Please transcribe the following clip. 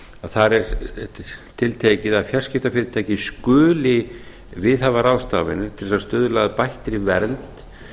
þar er tiltekið að fjarskiptafyrirtæki skuli viðhafa ráðstafanir til að stuðla að bættri vernd